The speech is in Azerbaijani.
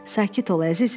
Sakit ol əzizim.